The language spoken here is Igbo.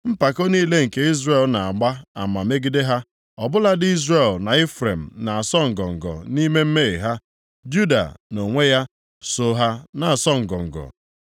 Mpako niile nke Izrel na-agba ama megide ha, Ọ bụladị Izrel na Ifrem na-asọ ngọngọ nʼime mmehie ha, Juda, nʼonwe ya, soo ha na-asọ ngọngọ.